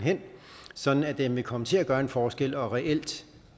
sådan at den vil komme til at gøre en forskel og reelt